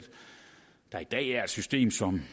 der i dag er et system som